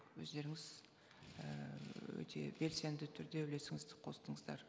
өздеріңіз ііі өте белсенді түрде үлесіңізді қостыңыздар